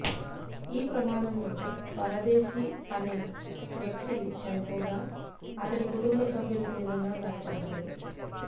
ఈ ప్రమాదంలో పరదేశీ అనే వ్యక్తి చనిపోగా అతడి కుటుంబ సభ్యులు తీవ్రంగా గాయపడ్డారు